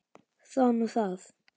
Það var nú það.